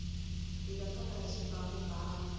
hita famba hi xibamubamu